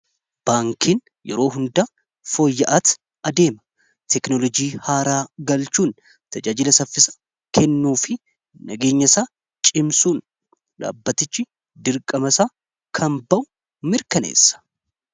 Baankiin yeroo hundaa fooyya'aatii adeema. Teknolojii haaraa galchuun tajaajila saffisaa kennuu fi nageenyasaa cimsuun dhaabbatichi dirqama isaa kan ba'u ta'uu mirkaneessa.